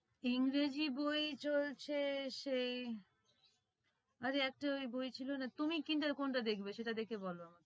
english বই চলছে আরে একটা ওই বই ছিল না তুমি কোনটা দেখবে সেটা দেখে বল